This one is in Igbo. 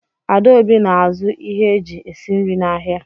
Adaobi na-azụ ihe eji esi nri n'ahịa.